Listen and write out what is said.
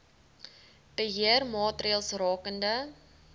beheer maatreëls rakende